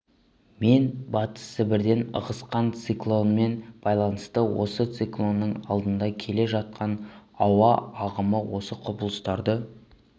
мен батыс сібірден ығысқан циклонмен байланысты осы циклонның алдында келе жатқан ауа ағымы осы құбылыстарды